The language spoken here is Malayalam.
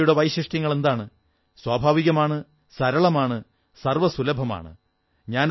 യോഗയുടെ വൈശിഷ്ട്യങ്ങളെന്താണ് സ്വാഭാവികമാണ് സരളമാണ് സർവ്വസുലഭമാണ്